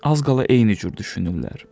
Az qala eyni cür düşünürlər.